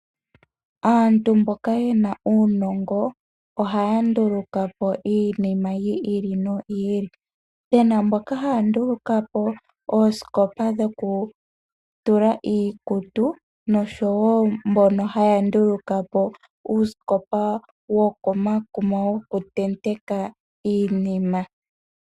Aantu mboka ye na uunongo ohaya nduluka po iinima yi ili noyi ili pena mboka haya nduluka po oosikopa dhoku tula iikutu noshowo mbono haya nduluka po uusikopa wo komakuma woku teteka iinima.